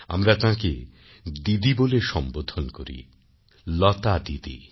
আমরা তাঁকে দিদি বলে সম্বোধন করি লতা দিদি